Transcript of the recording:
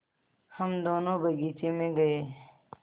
हम दोनो बगीचे मे गये